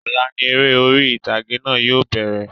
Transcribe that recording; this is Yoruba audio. Ọ̀la ni eré ori ìtàgé náà yóò bẹ̀rẹ̀